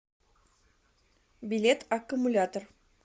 билет аккумулятор